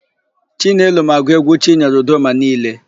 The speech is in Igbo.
Chinelo ma agụ égwú Chinyere Udoma niile.